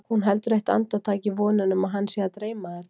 Hún heldur eitt andartak í vonina um að hana sé að dreyma þetta.